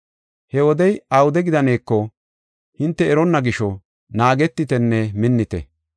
He wodey awude gidaneeko, hinte eronna gisho, naagetitenne minnite.